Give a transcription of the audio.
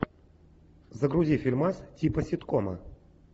загрузи фильмас типа ситкома